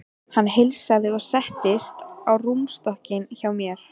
Hann heilsaði og settist á rúmstokkinn hjá mér.